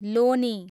लोनी